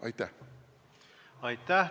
Aitäh!